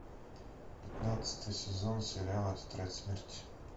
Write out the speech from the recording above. пятнадцатый сезон сериала тетрадь смерти